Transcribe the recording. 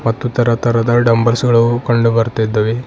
ಮತ್ತು ತರತರದ ಡಂಬಲ್ಸ ಗಳು ಕಂಡುಬರ್ತಿದ್ದವೆ.